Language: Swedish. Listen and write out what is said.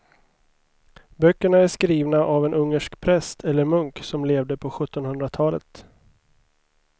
Böckerna är skrivna av en ungersk präst eller munk som levde på sjuttonhundratalet.